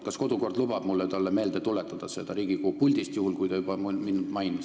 Kas kodukord lubab mul talle meelde tuletada seda Riigikogu puldist, juhul kui ta juba minu nime mainis?